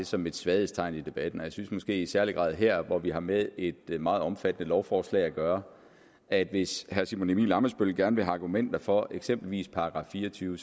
som et svaghedstegn i debatten og jeg synes måske i særlig grad her hvor vi har med et meget omfattende lovforslag at gøre at hvis herre simon emil ammitzbøll gerne vil have argumenter for eksempelvis § fire og tyve